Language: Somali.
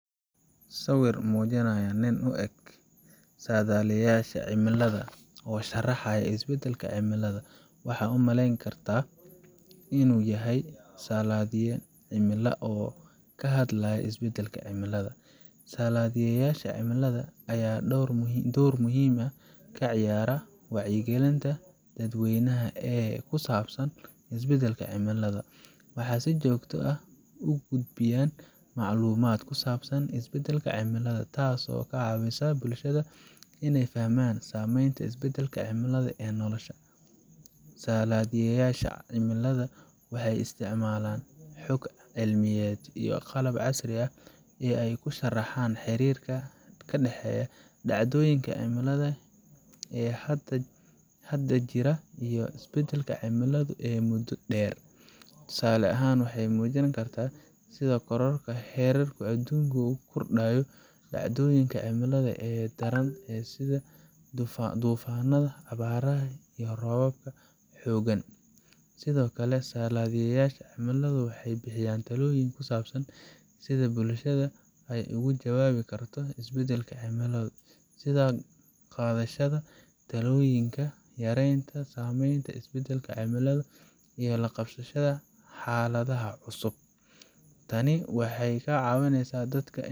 Sawir muujinaya nin u eg saadaaliyayasha cimilada oo sharaxaya isbeddelada cimilada, waxaad u malayn kartaa in uu yahay saadaaliye cimilada oo ka hadlaya isbeddelada cimilada. Saadaaliyeyaasha cimilada ayaa door muhiim ah ka ciyaara wacyigelinta dadweynaha ee ku saabsan isbeddelka cimilada. Waxay si joogto ah u gudbiyaan macluumaad ku saabsan isbeddelada cimilada, taasoo ka caawinaysa bulshada inay fahmaan saameynta isbeddelka cimilada ee noloshooda. Saadaaliyeyaasha cimilada waxay isticmaalaan xog cilmiyeed iyo qalab casri ah si ay u sharxaan xiriirka ka dhexeeya dhacdooyinka cimilada ee hadda jira iyo isbeddelka cimilada ee muddo dheer. Tusaale ahaan, waxay muujin karaan sida kororka heerkulka adduunka uu u kordhiyo dhacdooyinka cimilada ee daran sida duufaannada, abaaraha, iyo roobabka xooggan. Sidoo kale, saadaaliyeyaasha cimilada waxay bixiyaan talooyin ku saabsan sida bulshada ay uga jawaabi karto isbeddelada cimilada, sida qaadashada tallaabooyin yareynaya saameynta isbeddelka cimilada iyo la qabsiga xaaladaha cusub. Tani waxay ka caawinaysaa dadka.